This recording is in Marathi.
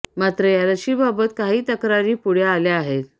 मात्र या लशीबाबत काही तक्रारी पुढे आल्या आहेत